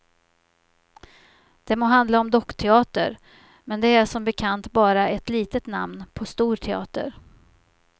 Det må handla om dockteater, men det är som bekant bara ett litet namn på stor teater.